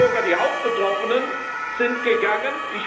Die Luxemburger die Hauptbetroffenen sind gegangen.